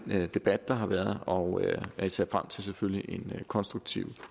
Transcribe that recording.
den debat der har været og jeg ser selvfølgelig en konstruktiv